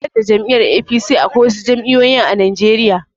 Banda jam'iyar 'A.P.C' Akwai wasu jam'iyoyin a najeriya